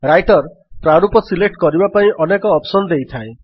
Writer ପ୍ରାରୂପ select କରିବା ପାଇଁ ଅନେକ ଅପ୍ସନ୍ ଦେଇଥାଏ